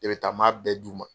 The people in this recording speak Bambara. E bɛ taa n m'a bɛɛ d' u ma.